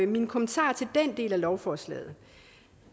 min kommentar til den del af lovforslaget